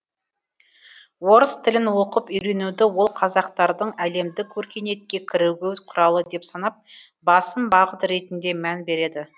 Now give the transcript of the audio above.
орыс тілін оқып үйренуді ол қазақтардың әлемдік өркениетке кірігу құралы деп санап басым бағыт ретінде мән береді